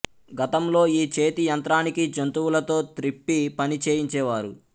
గతంలో ఈ చేతి యంత్రానికి జంతువులతో త్రిప్పి పని చేయించే వారు